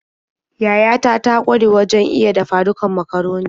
Yayata ta ƙware wajen iya dafa-dukan macaroni.